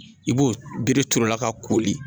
I b'o bere turu la ka koli